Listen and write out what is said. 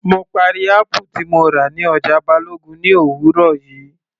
Mo parí apple tí mo rà ní ọjà Balogun ní òwúrọ̀ yìí